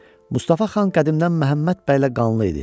Mustafa xan qədimdən Məhəmməd bəylə qanlı idi.